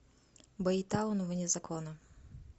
бэйтаун вне закона